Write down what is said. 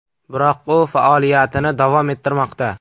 Biroq u faoliyatini davom ettirmoqda.